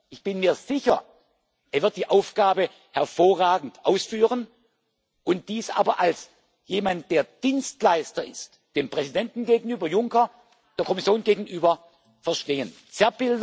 eine Chance! Ich bin mir sicher, er wird die Aufgabe hervorragend ausführen, und dies als jemand, der Dienstleister dem Präsidenten Juncker gegenüber und der Kommission gegenüber